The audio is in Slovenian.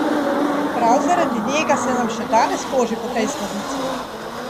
Prav zaradi njega se nam še danes toži po tej sladici!